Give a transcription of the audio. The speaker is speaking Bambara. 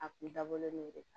A kun dabɔlen de kan